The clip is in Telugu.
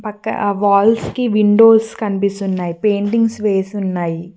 పక్క ఆ వాల్స్ కి విండోస్ కనిపిస్తున్నాయి పెయింటింగ్స్ వేసి ఉన్నాయి.